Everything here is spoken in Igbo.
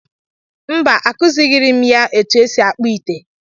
Mba, Akuzighiiri m ya otú e si akpụ ite.